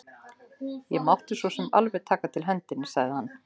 Það mátti sosum alveg taka til hendinni, sagði hann.